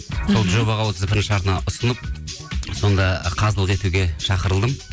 сол жобаға отыз бірінші арна ұсынып сонда қазылық етуге шақырылдым